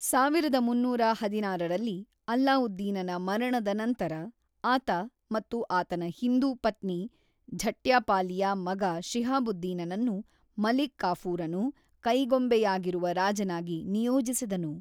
ಸಾವಿರದ ಮೂನ್ನೂರ ಹದಿನಾರರಲ್ಲಿ ಅಲ್ಲಾವುದ್ದೀನನ ಮರಣದ ನಂತರ, ಆತ ಮತ್ತು ಆತನ ಹಿಂದೂ ಪತ್ನಿ ಝಟ್ಯಪಾಲಿಯ ಮಗ ಶಿಹಾಬುದ್ದೀನನನ್ನು ಮಲಿಕ್‌ ಕಾಫೂರನು ಕೈಗೊಂಬೆಯಾಗಿರುವ ರಾಜನಾಗಿ ನಿಯೋಜಿಸಿದನು.